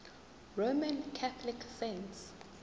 roman catholic saints